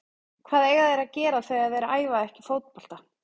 Hvað eiga þeir að gera þegar þeir æfa ekki fótbolta?